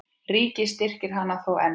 Ríkið styrkir hana þó enn.